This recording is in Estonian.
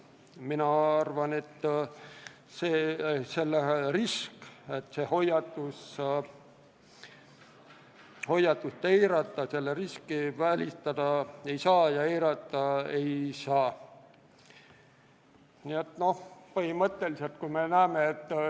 Mina arvan, et seda hoiatust eirata ei tohi – seda riski ei saa välistada.